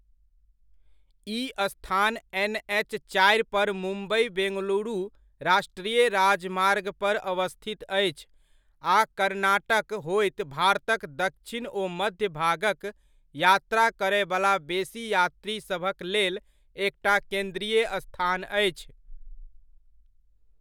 ई स्थान एन.एच.चारि पर मुम्बइ बेंगलुरू राष्ट्रीय राजमार्ग पर अवस्थित अछि आ कर्नाटक होइत भारतक दक्षिण ओ मध्य भागक यात्रा करयवला बेसी यात्रीसभक लेल एकटा केन्द्रीय स्थान अछि।